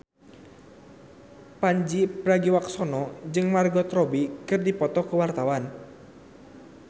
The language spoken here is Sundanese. Pandji Pragiwaksono jeung Margot Robbie keur dipoto ku wartawan